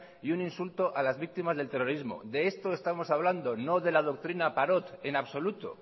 y un insulto a las víctimas del terrorismo de esto estamos hablando no de la doctrina parot en absoluto